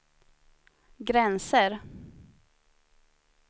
gränser